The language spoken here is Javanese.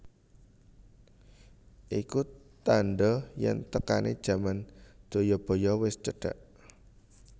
Iku tandha yen tekane jaman Jayabaya wis cedhak